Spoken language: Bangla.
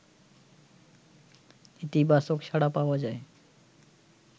ইতিবাচক সাড়া পাওয়া যায়